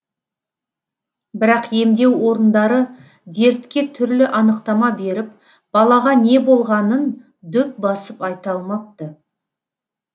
бірақ емдеу орындары дертке түрлі анықтама беріп балаға не болғанын дөп басып айта алмапты